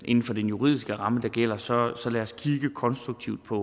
inden for den juridiske ramme der gælder så så lad os kigge konstruktivt på